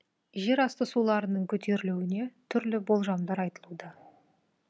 жерасты суларының көтерілуіне түрлі болжамдар айтылуда